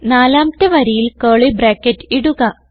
നാലാമത്തെ വരിയിൽ curly bracket ഇടുക